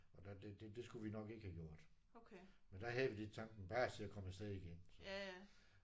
Og der det det det skulle vi nok ikke have gjort. Men der havde vi lidt tanken bare se at komme afsted igen